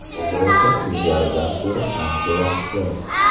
Hozir esa ilgarigidan ko‘ra ancha yaxshi.